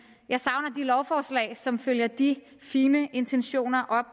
jeg savner lovforslag som følger de fine intentioner op